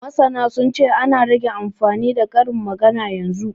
Masana sun ce, an rage amfani da karin magana yanzu